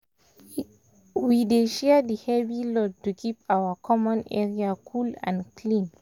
we dey share di heavy load to keep our common area cool and clean